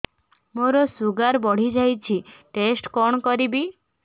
ମୋର ଶୁଗାର ବଢିଯାଇଛି ଟେଷ୍ଟ କଣ କରିବି